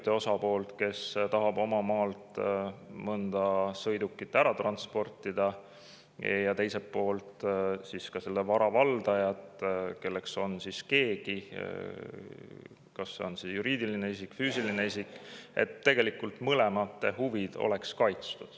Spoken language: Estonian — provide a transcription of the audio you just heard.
Üks osapool, kes tahab oma maalt mõnda sõidukit ära transportida, ja teine pool kui selle vara valdaja, kelleks on keegi juriidiline isik või füüsiline isik – tegelikult mõlema huvid kaitstud.